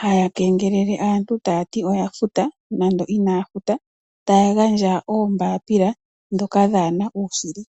haya kengelele aantu taya ti oya futa nande inaya futa taya gandja oombapila ndhoka dhaa na uushili.